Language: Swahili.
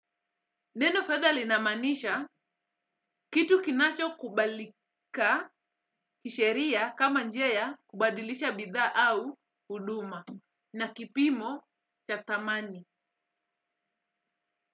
Neno fedha linamaanisha kitu kinachokubalika kisheria kama njia ya kubadilisha bidhaa au huduma na kipimo cha thamani.